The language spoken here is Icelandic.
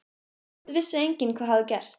Samt vissi enginn hvað hafði gerst.